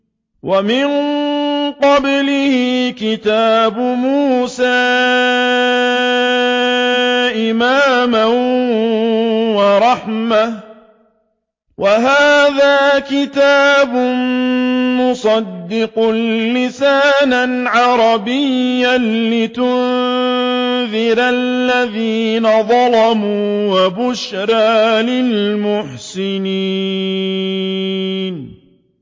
وَمِن قَبْلِهِ كِتَابُ مُوسَىٰ إِمَامًا وَرَحْمَةً ۚ وَهَٰذَا كِتَابٌ مُّصَدِّقٌ لِّسَانًا عَرَبِيًّا لِّيُنذِرَ الَّذِينَ ظَلَمُوا وَبُشْرَىٰ لِلْمُحْسِنِينَ